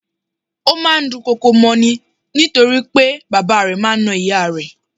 Ó máa ń dùn kọkò mọ́ ni nítorí pé bàbá rẹ̀ máa ń na ìyá rẹ̀.